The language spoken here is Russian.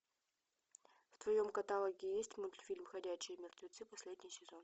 в твоем каталоге есть мультфильм ходячие мертвецы последний сезон